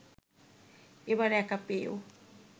এবার একা পেয়েও